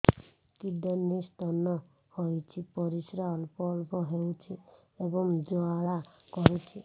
kidney stone ହୋଇଛି ପରିସ୍ରା ଅଳ୍ପ ଅଳ୍ପ ହେଉଛି ଏବଂ ଜ୍ୱାଳା କରୁଛି